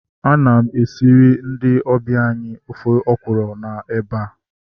Ana m esiri ndị ọbịa anyị ofe ọkwụrụ na eba